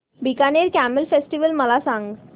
Bikaner camel festival मला सांग